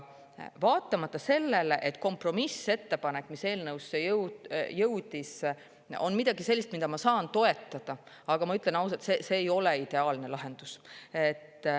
Vaatamata sellele, et kompromissettepanek, mis eelnõusse jõudis, on midagi sellist, mida ma saan toetada, ütlen ausalt, et see ei ole ideaalne lahendus.